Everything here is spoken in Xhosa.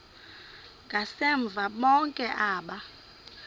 ngasemva bonke aba